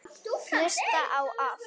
Hlusta á allt!!